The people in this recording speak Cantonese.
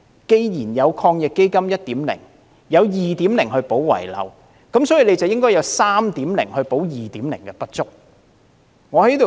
既然抗疫基金的第一輪措施，有第二輪來補漏拾遺，因此，亦應該有第三輪措施來彌補第二輪的不足。